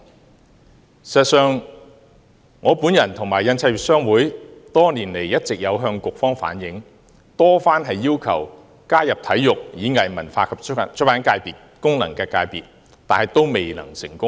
事實上，我與印刷業商會多年來一直有向局方反映，多番要求加入體育、演藝、文化及出版界功能界別，卻未能成功。